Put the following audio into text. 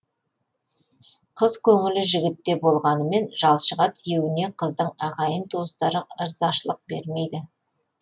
қыз көңілі жігітте болғанымен жалшыға тиюіне қыздың ағайын туыстары ырзашылық бермейді